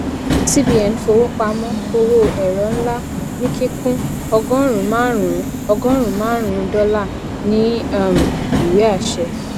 cbn fowópamọ owó ẹrọ ńlá ní kíkún ọgọrùnún márùnún ọgọrùnún márùnún dọlà ní um ìwé àṣẹ